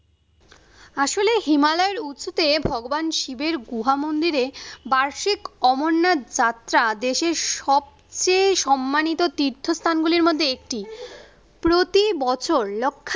আসলে হিমালয়ের উঁচুতে ভগবান শিবের গুহা মন্দিরে বার্ষিক অমরনাথ যাত্রা দেশের সবচেয়ে সম্মানিত তীর্থস্থান গুলির মধ্যে একটি। প্রতি বছর লক্ষ